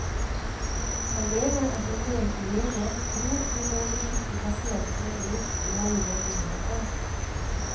Han mener at en del leger tror de må beskytte pasientene mot dårlige nyheter.